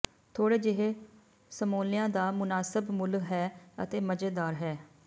ਥੋੜ੍ਹੇ ਜਿਹੇ ਸਮੋਲਿਆਂ ਦਾ ਮੁਨਾਸਬ ਮੁੱਲ ਹੈ ਅਤੇ ਮਜ਼ੇਦਾਰ ਹੈ